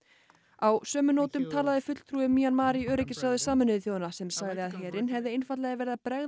á sömu nótum talaði fulltrúi Mjanmar í öryggisráði Sameinuðu þjóðanna sem sagði að herinn hefði einfaldlega verið að bregðast